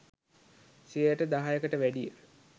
සියයට දහයකට වැඩිය